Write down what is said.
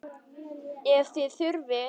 Ef þið þurfið.